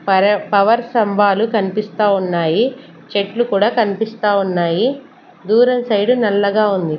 పర-- పవర్ స్తంభాలు కనిపిస్తా ఉన్నాయి చెట్లు కూడా కనిపిస్తా ఉన్నాయి దూరం సైడ్ నల్లగా ఉంది.